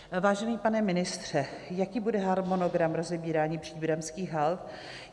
Vážený pane ministře, jaký bude harmonogram rozebírání příbramských hald?